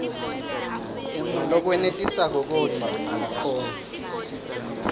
ngalokwenetisako kodvwa akakhoni